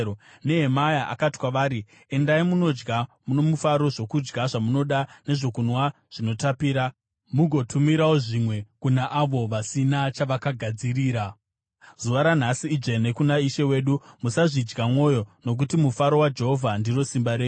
Nehemia akati kwavari, “Endai munodya nomufaro zvokudya zvamunoda nezvokunwa zvinotapira, mugotumirawo zvimwe kuna avo vasina chavakagadzirira. Zuva ranhasi idzvene kuna Ishe wedu. Musazvidya mwoyo, nokuti mufaro waJehovha ndiro simba renyu.”